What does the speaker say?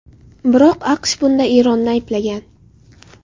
Biroq AQSh bunda Eronni ayblagan .